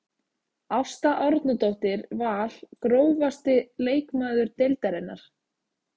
Ásta Árnadóttir Val Grófasti leikmaður deildarinnar?